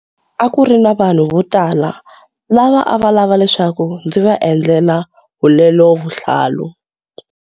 A ku ri na vanhu votala lava a va lava leswaku ndzi va endlela hulelovuhlalu.